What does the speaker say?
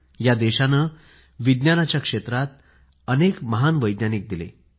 या देशानं विज्ञानाच्या क्षेत्रात अनेक महान वैज्ञानिक दिले